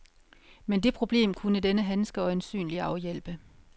Men det problem kunne denne handske øjensynlig afhjælpe.